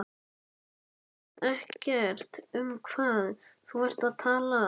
Þú veist ekki um hvað þú ert að tala.